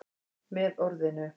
Með orðinu